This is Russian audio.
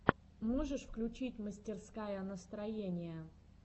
можешь включить мастерская настроения